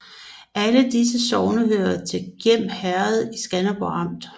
Alle disse sogne hørte til Gjern Herred i Skanderborg Amt